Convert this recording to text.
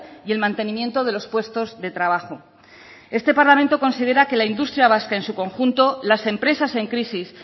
y el mantenimiento de los puestos de trabajo este parlamento considera que la industria vasca en su conjunto las empresas en crisis